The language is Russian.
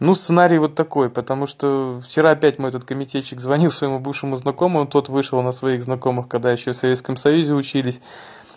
ну сценарий вот такой потому что вчера опять мой этот комитетчик звонил своему бывшему знакомому тот вышел на своих знакомых когда ещё в советском союзе учились